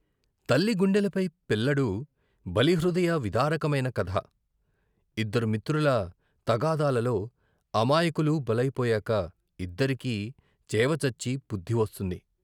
తల్లి గుండెలపై పిల్లడు, బలి హృదయ విదారకమైన కథ. ఇద్దరు మిత్రుల తగాదాలలో అమాయకులు బలైపోయాక ఇద్దరికీ చేవ చచ్చి బుద్ధి వస్తుంది.